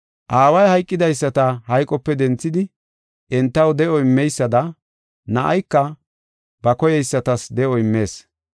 Aaway hayqidaysata hayqope denthidi entaw de7o immeysada Na7ayka ba koyeysatas de7o immees.